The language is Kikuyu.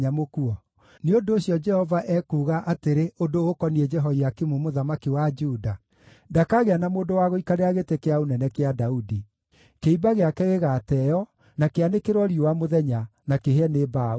Nĩ ũndũ ũcio, Jehova ekuuga atĩrĩ ũndũ ũkoniĩ Jehoiakimu mũthamaki wa Juda: Ndakagĩa na mũndũ wa gũikarĩra gĩtĩ kĩa ũnene kĩa Daudi; kĩimba gĩake gĩgaateeo, na kĩanĩkĩrwo riũa mũthenya, na kĩhĩe nĩ mbaa ũtukũ.